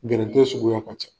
Gɛrɛntɛ suguya ka can.